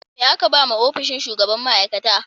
Me aka ba wa ofishin shugaban ma; aikata?